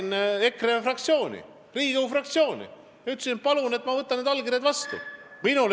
Mina läksin EKRE fraktsiooni Riigikogus ja ütlesin, et ma võtan need allkirjad vastu.